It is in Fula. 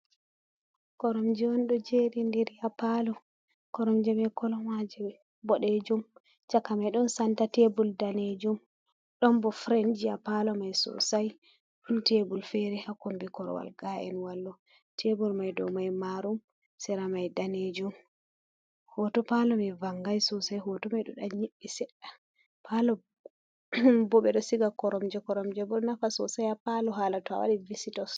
Koromjeon do jeri diri ya palo koromjemai kolomaje bodejum chaka mai don santa tebul danejum don bo frenji a palo mai sosai don tebul fere hakombe korwal ga’en wallo tebul mai do mai marum sera mai danejum, hoto palo mai vangai sosai hoto mai do dan nyibbi sedda palo bo bedo siga koromje koromje bo nafa sosai a palu halato awari visitos.